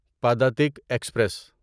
Padatik express